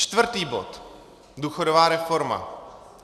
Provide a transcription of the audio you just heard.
Čtvrtý bod, důchodová reforma.